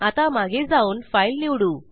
आता मागे जाऊन फाईल निवडू